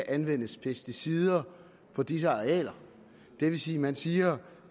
anvendes pesticider på disse arealer det vil sige at man siger at